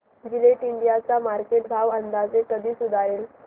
Gillette India चा market भाव अंदाजे कधी सुधारेल